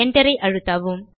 Enterஐ அழுத்தவும்